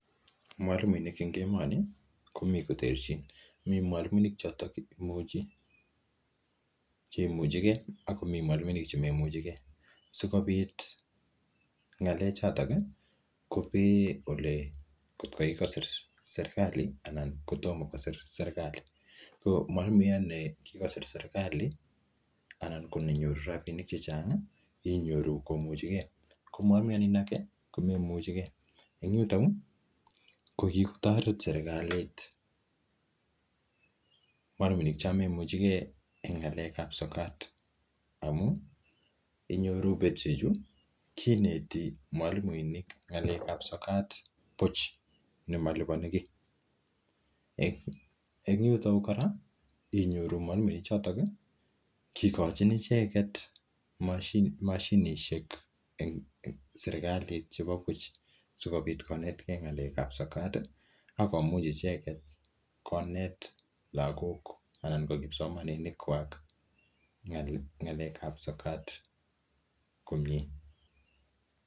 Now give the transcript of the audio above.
Mwalimuinik en emoni komi koterchin, mi mwalimuinik che imuch ege ak komi mwalimuinik chemoimuchege. Sikobit ng'alechoto kobee kotko kigosir serkalit anan ko tomo kosir serkalit. Ko mwalimuyat ne kigosir serkalit anan ko nenyoru rabinik chechang inyoru komuchige, ko mwalmuyat nin age inyoru komaimuchige. En yuto kogitoret serkalit mwalimuinik chon maimuchige e ng'alekab sokat amun inyoru betusheju kineti mwalimuinik ng'alekab sokat buch nemaliponi kiy. En yuto kora inyoru mwalimuechoto kigochin ichget mashinisiek serkalit sikobit konetge ng'alekab sokat ak komuch icheget konet lagok anan koik kipsomaninikkwak en ng'alekab sokat komye.